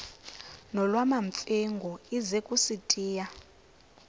nolwamamfengu ize kusitiya